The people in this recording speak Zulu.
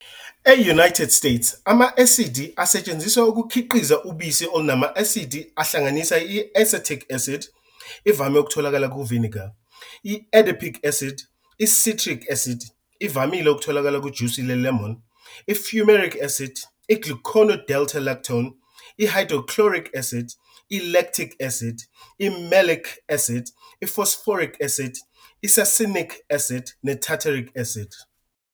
E-United States, ama-asidi asetshenzisiwe ukukhiqiza ubisi olunama-asidi ahlanganisa i-acetic acid, ivame ukutholakala ku-vinegar, i-adipic acid, i-citric acid, ivamile ukutholakala kujusi le-lemon, i-fumaric acid, i'glucono-delta-lactone, i-hydrochloric acid, i-"lactic acid", i-malic acid, i "i-phosphoric acid", i-"succinic acid, ne-tartaric acid".